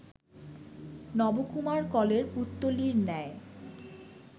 নবকুমার কলের পুত্তলীর ন্যায়